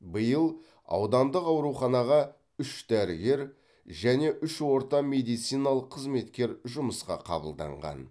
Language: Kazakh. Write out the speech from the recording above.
биыл аудандық ауруханаға үш дәрігер және үш орта медициналық қызметкер жұмысқа қабылданған